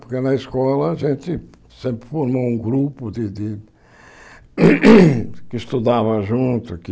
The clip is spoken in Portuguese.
Porque na escola a gente sempre formou um grupo de de que estudava junto, que...